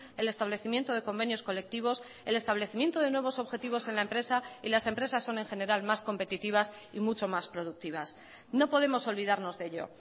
el establecimiento de convenios colectivos el establecimiento de nuevos objetivos en la empresa y las empresas son en general más competitivas y mucho más productivas no podemos olvidarnos de ello